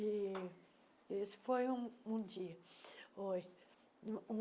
E esse foi um um dia.